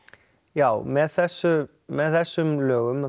já með þessum með þessum lögum